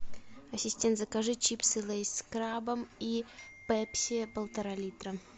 ассистент закажи чипсы лейс с крабом и пепси полтора литра